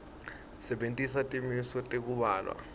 sebentisa timiso tekubhalwa